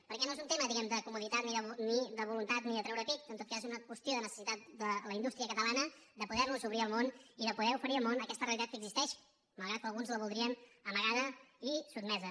perquè no és un tema diguem ne de comoditat ni de voluntat ni de treure pit en tot cas és una qüestió de necessitat de la indústria catalana de poder nos obrir al món i de poder oferir al món aquesta realitat que existeix malgrat que alguns la voldrien amagada i sotmesa